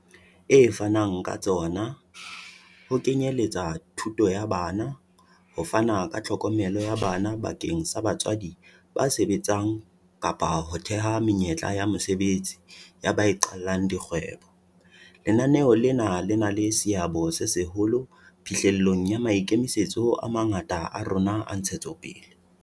e fanang ka tsona, ho kenye letsa thuto ya bana, ho fana ka tlhokomelo ya bana bakeng sa batswadi ba sebetsang kapa ho theha menyetla ya mosebetsi ya ba iqallang di kgwebo, lenaneo lena le na le seabo se seholo phihlellong ya maikemisetso a mangata a rona a ntshetsopele.